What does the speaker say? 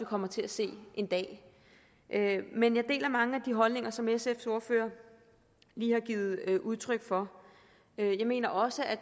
kommer til at se en dag men jeg deler mange af de holdninger som sfs ordfører lige har givet udtryk for jeg mener også at